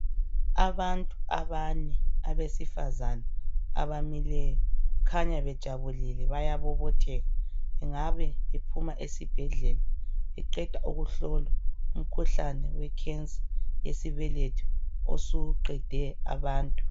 Abantu abane abesifazana abamileyo. Kukhanya bejabulile, bayabobotheka. Bengabe bephuma esibhedlela beqeda ukuhlolwa umkhuhlane wekhensa yesibeletho osuqede abantu.